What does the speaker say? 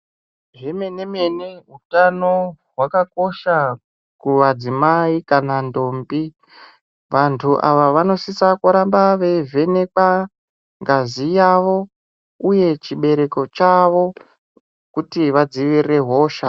Zvemene mene utano hwakakosha kumadzimai kana ntombi. Vantu ava vanosisa kuramba veivhenekwa ngazi yavo uye chibereko chavo kuti vadzivirire hosha.